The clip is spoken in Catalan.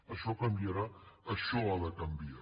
això canviarà això ha de canviar